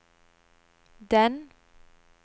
den